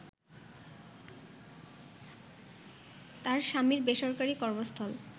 তার স্বামীর বেসরকারি কর্মস্থল